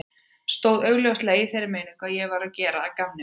Stóð augljóslega í þeirri meiningu að ég væri að gera að gamni mínu.